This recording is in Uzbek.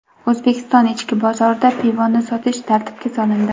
O‘zbekiston ichki bozorida pivoni sotish tartibga solindi.